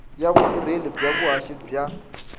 ya vutirheli bya vuhaxi bya